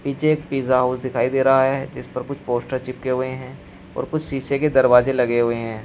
नीचे एक pizza house दिखाई दे रहा है जिस पर कुछ पोस्टर चिपके हुए हैं और कुछ शीशे के दरवाजे लगे हुए हैं।